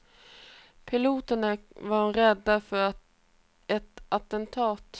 Piloterna var rädda för ett attentat.